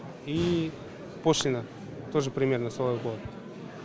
и пошлинно тоже примерно солай болады